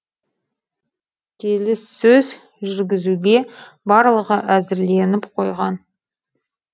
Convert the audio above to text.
келіссөз жүргізуге барлығы әзірленіп қойған